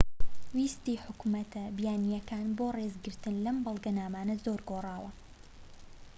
ویستی حکومەتە بیانیەکان بۆ ڕێزگرتن لەم بەڵگەنامانە زۆر گۆڕاوە